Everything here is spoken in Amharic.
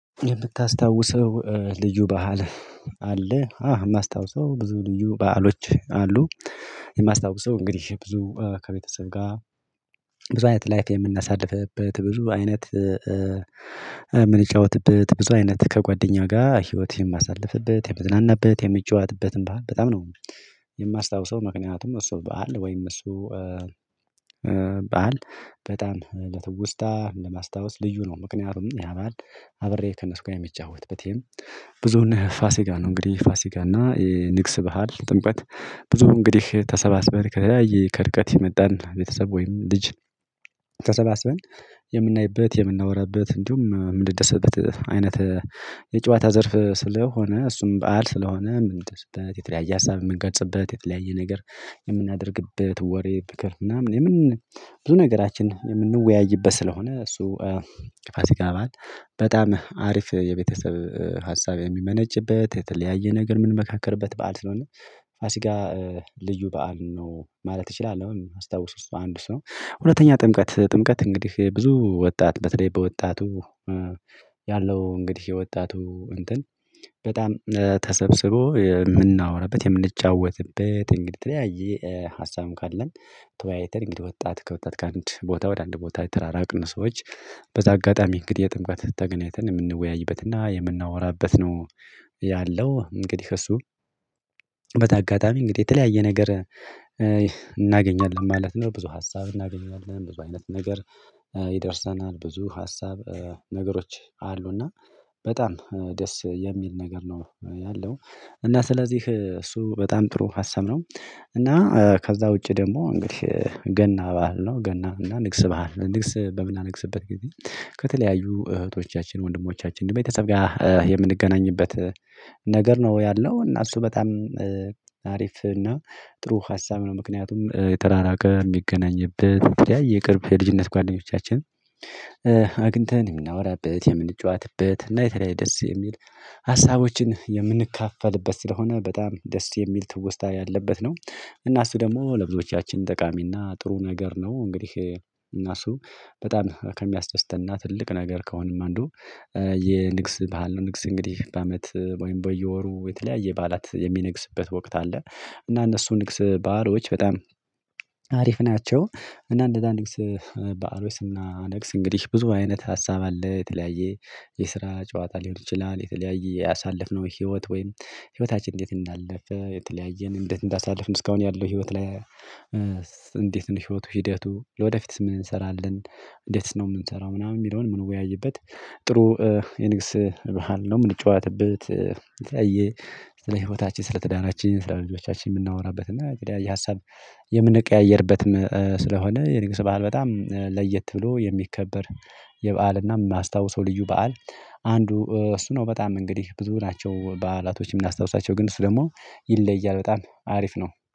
የምታስታውሰው ልዩ በዓል አለ አዎ የማስታውሰው ብዙ ልዩ በዓሎች አሉ። የማስታውሰው እንግዲህ ብዙ ከቤተሰብ ጋር ብዙ አይነት ላይፍ የምናሳልፍበት ብዙ አይነት የምንጫወትበት ብዙ አይነት ከጓደኛ ጋር ህይወት የማሳልፍበት የምዝናናበት የምጫዋትበትን ባህል በጣም ነው። የማስታውሰው ምክንያቱም እሱ በዓል ወይም እሱ በዓል በጣም ለትውስታ ለማስታወስ ልዩ ነው። ምክንያቱም ያባል አብሬ ከነስ ጋር የምጫወትበት ብዙ ነህ ፋሲጋ ነው እንግዲህ ፋሲጋ እና ንግስ ባህል ጥምቀት። ብዙ እንግዲህ ተሰባስበ ከተለያየ ከእርቀት የመጣን ቤተሰብ ወይም ልጅ ተሰባስበን የምናይበት የምናወራበት እንዲሁም የምንደሰተበት። አይነት የጨዋታ ዘርፍ ስለሆነ እሱም በዓል ስለሆነ ምን ይሰጥበት የተለያየ ሀሳብ የምንገጽበት የተለያየ ነገር የምናደርግበት ወሬ በከ ምናምን የምን ብዙ ነገራችን የምንወያይበት ስለሆነ። እሱ ፋሲካ አባት በጣም አሪፍ የቤተሰብ ሀሳብ የሚመነጭበት የተለያየ ነገር ምን ምንመካከርበት በዓል ስለሆነ ፋሲጋ ልዩ በዓል ነው። ማለት እችላለሁ አስታውሱ እሱ አንዱ እሱ ነው። ሁለተኛ ጥምቀት ጥምቀት እንግዲህ ብዙ ወጣት በተለይ በወጣቱ ያለው እንግዲህ የወጣቱ እንትን በጣም ተሰብስቦ የምናወራበት የምንጫወትበት እንግዲህ የተለያየ ሀሳቡን ካለን ተወያይተን እንግዲህ ወጣት ከወጣት ከአንድ ቦታ ወደ አንድ ቦታ የተራራቅን ሰዎች በዛ አጋጣሚ እንግዲህ የጥምቃት ተገናኝተን የምንወያይበትና የምናወራበት ነው። ያለው እንግዲህ እሱ በተጋጣሚ እንግዲህ የተለያየ ነገር እናገኛለን ማለት ነው። ብዙ ሀሳብ እናገኛለን ብዙ አይነት ነገር ይደርሰናል ብዙ ሀሳብ ነገሮች አሉና በጣም ደስ የሚል ነገር ነው ያለው። እና ስለዚህ እሱ በጣም ጥሩ ሀሳብ ነው። እና ከዛ ውጪ ደሞ እንግዲህ ገና ባህል ነው ገና እና ንግስ ባህል ንግስ በምናነግስበት ጊዜ ከተለያዩ እህቶቻችን ወንድሞቻችን ቤተሰብ ጋር የምንገናኝበት ነገር ነው። ያለው እና እሱ በጣም አሪፍ እና ጥሩ ሀሳብ ነው። ምክንያቱም የተራራቀ የሚገናኝበት የተለያየ የቅርብ የልጅነት ጓደኞቻችን አግኝተን የምናወራበት የምንጫወትበት እና የተለያየ ደስ የሚል ሀሳቦችን የምንካፈልበት ስለሆነ በጣም ደስ የሚል ትውስታ ያለበት ነው። እና እሱ ደሞ እና ለብዙዎቻችን ጠቃሚና ጥሩ ነገር ነው። እንግዲህ እናሱ በጣም ከሚያስደስትና ትልቅ ነገር ከሆነም አንዱ የንግስ ባህል ነው። ንግስ እንግዲህ በአመት ወይም በየወሩ የተለያየ በዓላት የሚነግስበት ወቅት አለ። እና እነሱ ንግስ ባህሎች በጣም አሪፍ ናቸው። እና እንደዛ ንግስ ባህሮች ስናነግስ እንግዲህ ብዙ አይነት ሀሳብ አለ የተለያየ የስራ ጨዋታ ሊሆን ይችላል። የተለያየ ያሳለፍነው ህይወት ወይም ህይወታችን እንዴት እንዳለፈ የተለያየን እንዴት እንዳሳልፍን እስካሁን ያለው ህይወት ላይ ሽሮቱ ሽደቱ ለወደፊትስ ምን እንሰራለን እንዴትስ ነው ምንሰራው ምናምን የሚለውን ምን ወያይበት። ጥሩ የንግስ በዓል ነው። ምንጫወትበት ስለ ህይወታችን ስለ ትዳራችን ስለ ልጆቻችን የምናወራበት እና የተለያየ የሀሳብ የምንቀያየርበት ስለሆነ የንጉስ በዓል በጣም ለየት ብሎ የሚከበር የበዓልና ማስታውሰው ልዩ በዓል። አንዱ እሱ ነው። በጣም እንግዲህ ብዙ ናቸው በዓላቶች የምናስታውሳቸው ግን እሱ ደሞ ይለያል በጣም አሪፍ ነው።